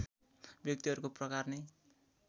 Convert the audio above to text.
व्यक्तिहरूको प्रकार नै